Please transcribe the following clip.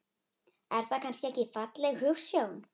Er það kannski ekki falleg hugsjón?